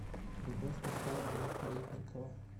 любовь михайловна каретникова